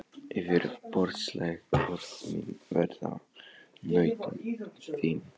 Yfirborðsleg orð mín verða nautn þín.